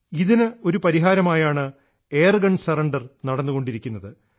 ഇതിന് ഒരു പരിഹാരമായാണ് എയർഗൺ സറണ്ടർ നടന്നുകൊണ്ടിരിക്കുന്നത്